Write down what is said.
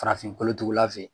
Farafin kolotugula fe ye